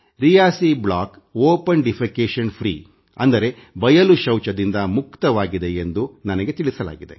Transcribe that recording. Reasi block ಬಯಲು ಶೌಚ ಮುಕ್ತವಾಗಿದೆಯೆಂದು ನನಗೆ ತಿಳಿಸಲಾಗಿದೆ